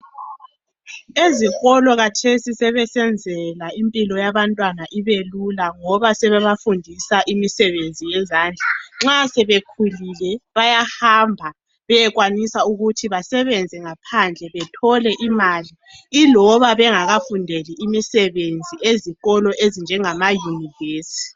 Ezikolo kathesi sebesenzela impilo yaba ntwana ibe lula ngoba sebebafundisa imisebenzi yezandla. Nxa sebekhulile bayahamba beyekwanisa ukuthi basebenze ngaphandle bethole imali iloba bengakafundeli imisebenzi ezikolo ezinjengama univesi.